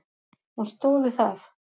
Hún stóð við það.